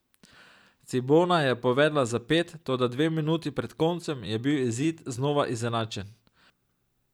Cibona je povedla za pet, toda dve minuti pred koncem je bil izid znova izenačen.